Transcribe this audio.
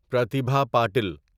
Pratibha Patel